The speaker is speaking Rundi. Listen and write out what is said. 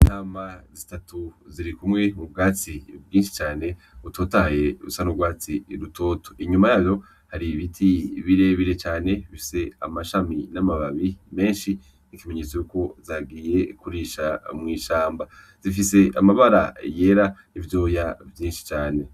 Intama zitatu zirikumwe mu bwatsi bwinshi cane butotahaye busa n'urwatsi rutoto. Inyuma yazo hari ibiti birebire cane bifise amashami n'amababi menshi nk'ikimenyetso cuko zagiye kurisha mw'ishamba. Zifise amabara yera n'ivyoya vyinshi cane.